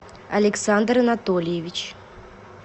александр анатольевич